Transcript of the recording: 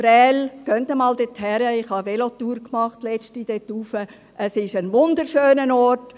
Gehen Sie einmal nach Prêles – ich habe kürzlich eine Velotour dorthin unternommen –, es ist ein wunderschöner Ort.